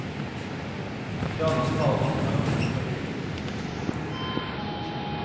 I dagens kaos er han mønstergyldig. punktum